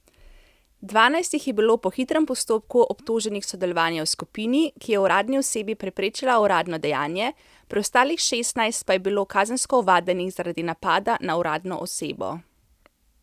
Dvanajst jih je bilo po hitrem postopku obtoženih sodelovanja v skupini, ki je uradni osebi preprečila uradno dejanje, preostalih šestnajst pa je bilo kazensko ovadenih zaradi napada na uradno osebo.